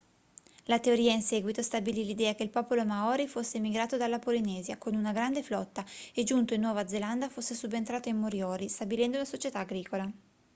la teoria in seguito stabilì l'idea che il popolo maori fosse emigrato dalla polinesia con una grande flotta e giunto in nuova zelanda fosse subentrato ai moriori stabilendo una società agricola